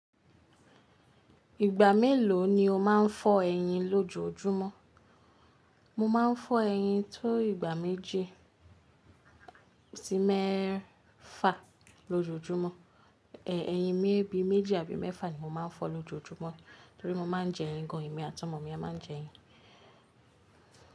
Ìgbà mélòó ni o máa ń fọ ẹyin lójojúmọ́? Mo máa ń fọ́ ẹyin tó ìgbà méjì sí mẹ́ẹ́fa lójojúmọ́. Ẹ̀ ẹyin méjì àbí mẹ́fà ni mo máa ń fọ́ lójojúmọ́ torí mo máa ń jẹ ẹyin gan. Ẹ̀mi àti ọmọ mi a máa ń jẹ ẹyin.